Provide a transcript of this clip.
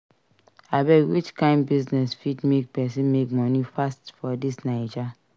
Abeg which kain business fit make person make money fast for dis Naija?